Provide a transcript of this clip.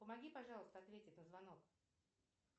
помоги пожалуйста ответить на звонок